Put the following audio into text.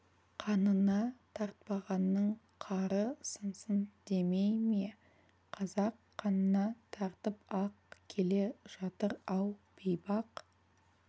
қанына тартпағанның қары сынсын демей ме қазақ қанына тартып-ақ келе жатыр-ау бейбақ